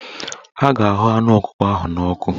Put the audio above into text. A ga-ahụ anụ ọkụkọ ahụ n'ọkụ